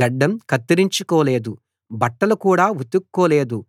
గడ్డం కత్తిరించుకోలేదు బట్టలు కూడా ఉతుక్కోలేదు